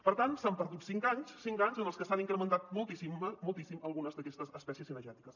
per tant s’han perdut cinc anys cinc anys en els que s’han incrementat moltíssim algu·nes d’aquestes espècies cinegètiques